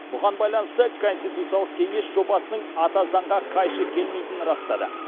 бұған байланысты конституциялық кеңес жобасының ата заңға қайшы келмейтінін растады